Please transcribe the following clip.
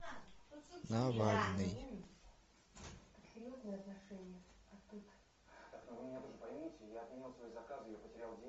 навальный